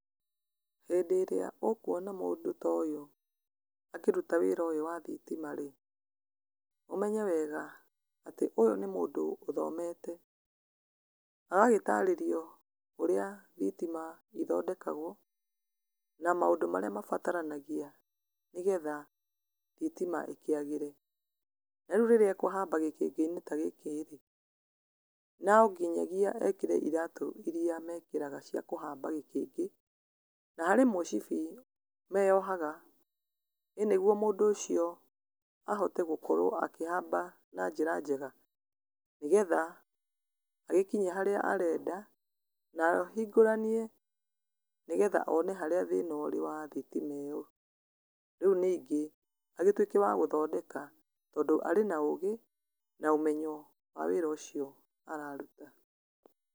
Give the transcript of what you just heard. Hĩndĩria ũkuona mũndũ toyũ akĩruta wĩra ũyũ wa thitima rĩ, ũmenye wega atĩ ũyũ nĩ mũndũ ũthomete, ũgagĩtarĩrio ũrĩa thitima ithondekagwo, na maũndũ marĩa mabaranagĩa nĩgetha thitima ikĩagĩre, narĩu rĩrĩa ekũhamba gĩkĩngĩ-inĩ tagĩkĩ rĩ, nonginyagĩa ekĩre ĩratũ iria mekĩraga cia kũhamba gĩkĩngĩ, na harĩ mwĩcibi meyohaga, ĩ nĩguo mũndũ ũcio ahote gũkorwo akĩhamba na njra njega, nĩgetha agĩkinye harĩa arenda, nahingũranie nĩgetha one harĩa thĩna ũrĩ wa thitima ĩyo, rĩu ningĩ, agĩtuĩke wa gũthondeka tondũ arĩ na ũgĩ, naũmenye wa wĩra ũcio araruta